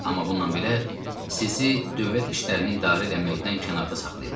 Amma bundan belə, sizi dövlət işlərini idarə eləməkdən kənarda saxlayırlar.